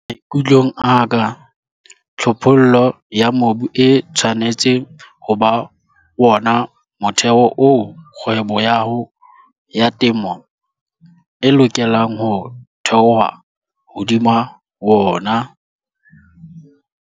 Maikutlong a ka, tlhophollo ya mobu e tshwanetse ho ba wona motheho oo kgwebo ya hao ya temo e lokelang ho thehwa hodima wona.